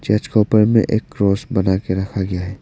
Church का ऊपर में एक क्रॉस बना के रखा गया है।